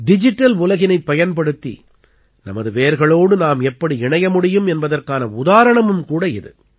digital உலகினைப் பயன்படுத்தி நமது வேர்களோடு நாம் எப்படி இணைய முடியும் என்பதற்கான உதாரணமும் கூட இது